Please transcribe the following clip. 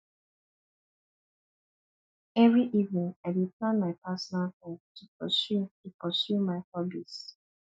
every evening i dey plan my personal time to pursue to pursue my hobbies